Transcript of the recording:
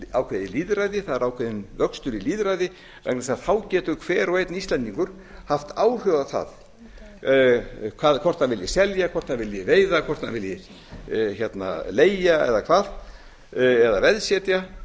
ákveðið lýðræði það er ákveðinn vöxtur í lýðræði vegna þess að þá getur hver og einn íslendingur haft áhrif á það hvort hann vilji selja hvort hann vilji veiða hvort hann vilji leigja eða hvað eða veðsetja